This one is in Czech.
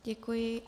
Děkuji.